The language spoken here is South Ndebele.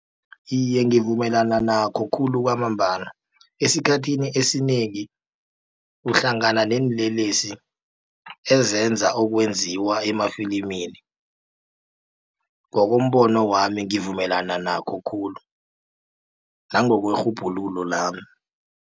Iye, ngivumelana nakho khulu kwamambala esikhathini esinengi uhlangana neenlelesi ezenza okwenziwa emafilimini. Ngokombono wami ngivumelana nakho khulu nangokwerhubhululo lami.